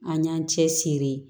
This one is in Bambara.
An y'an cɛsiri